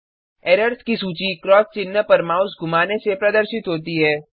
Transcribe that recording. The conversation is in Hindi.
एरर्स की सूची क्रॉस चिन्ह पर माउस घुमाने से प्रदर्शित होती है